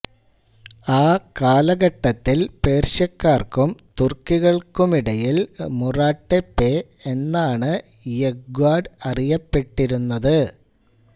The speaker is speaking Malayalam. ആ കാലഘട്ടത്തിൽ പേർഷ്യക്കാർക്കും തുർക്കികൾക്കുമിടയിൽ മുറാട്ടെപ്പെ എന്നാണ് യെഗ്വാർഡ് അറിയപ്പെട്ടിരുന്നത്